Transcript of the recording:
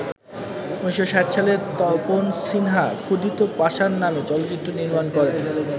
১৯৬০ সালে তপন সিনহা ‘ক্ষুধিত পাষাণ’ নামে চলচ্চিত্র নির্মাণ করেন।